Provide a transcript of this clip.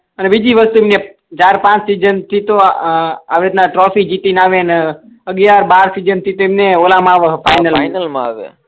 અને બીજી વસ્તુ ક ચાર પાંચ સીઝન થી અ આ આવી રીતના ટ્રોફી જીટી ને આવ્યા ને અગ્યાર બાર સીઝન થી એમણે ઓલા મા ફાઈનલ મા આવે